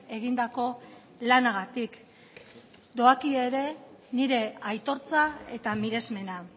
egindako lanagatik doakio ere nire aitortza eta miresmena